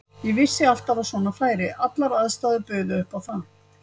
Ég vissi alltaf að svona færi, allar aðstæður buðu upp á það.